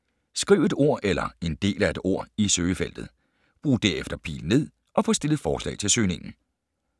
Skriv et ord eller en del af et ord i søgefeltet. Brug derefter pil ned og få stillet forslag til søgningen.